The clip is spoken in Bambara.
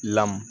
Lamɔ